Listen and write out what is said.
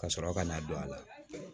Ka sɔrɔ ka n'a don a la